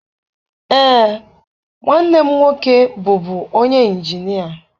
Ee, nwanne m nwoke bụbu onye ịnjinịa.